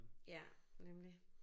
Ja nemlig